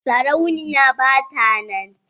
sarauniya ba ta nan.